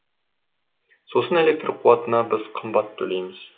сосын электр қуатына біз қымбат төлейміз